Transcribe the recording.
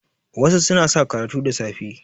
wasu suna sa karatu da safe